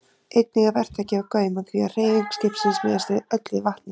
Einnig er vert að gefa gaum að því að hreyfing skipsins miðast öll við vatnið.